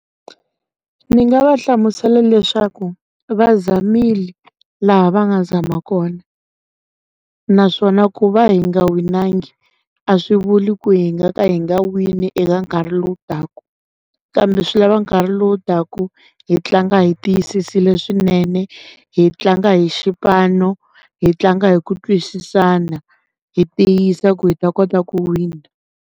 Ni nga va hlamusela leswaku va zamile laha va nga zama kona naswona ku va hi nga winangi a swi vuli ku hi nga ka hi nga wini eka nkarhi lowu taka kambe swi lava nkarhi lowu taka hi tlanga hi tiyisisiwile swinene hi tlanga hi xipano hi tlanga hi ku twisisana hi tiyisa ku hi ta kota ku wina.